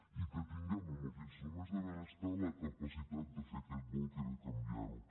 i que tinguem amb els instruments de benestar la capacitat de fer aquest bolc i de canviar ho